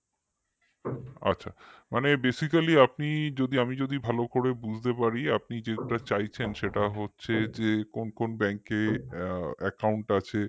আচ্ছা মানে basically আপনি যদি আমি যদি ভালো করে বুঝতে পারি আপনি যেটা চাইছেন সেটা হচ্ছে যে কোন কোন bank এ account আছে